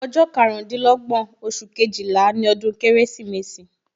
Ọjọ́ karundinlogbon oṣù Kejìlá ni ọdún Kérésìmesì